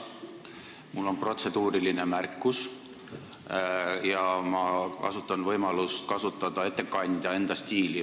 Mul on protseduuriline märkus ja ma kasutan võimalust kasutada ettekandja enda stiili.